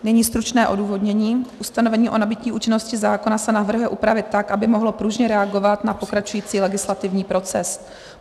Nyní stručné odůvodnění: Ustanovení o nabytí účinnosti zákona se navrhuje upravit tak, aby mohlo pružně reagovat na pokračující legislativní proces.